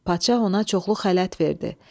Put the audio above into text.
Padşah ona çoxlu xələt verdi.